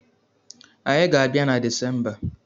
Anyị ga-abia na Desemba